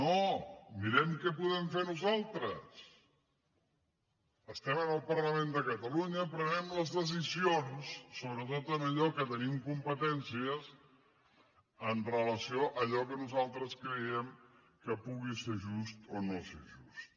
no mirem què podem fer nosaltres estem en el parlament de catalunya prenguem les decisions sobretot en allò en què tenim competències amb relació a allò que nosaltres creiem que pugui ser just o no ser just